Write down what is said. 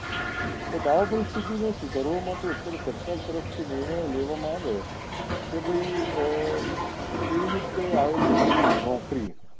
તો આ પરિસ્થિતિ ને સુધારવા માટે અત્યારે સરકાર તરફ થી નિર્ણયો લેવા માં આવે કે ભાઈ કેવી રીતે આયોજન કરવું નોકરીએ